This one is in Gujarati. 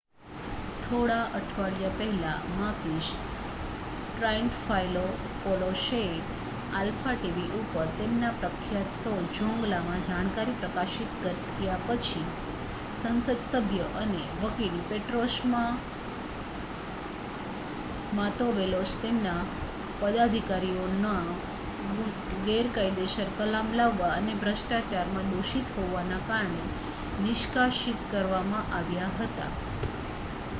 "થોડા અઠવાડિયા પહેલા માકીસ ટ્રાઇન્ટફાયલોપોલોસએ આલ્ફા ટી. વી. ઉપર તેમના પ્રખ્યાત શો "ઝોંગલા" માં જાણકારી પ્રકાશિત કર્યા પછી સંસદસભ્ય અને વકીલ પેટ્રોસ માંતોવેલોસ તેમના પદાધિકારીઓનો ગેરકાયદેસર કલામ લાવવા અને ભ્રષ્ટાચારમાં દોષિત હોવાના કારણે નિષ્કાશીત કરવામાં આવ્યા હતા.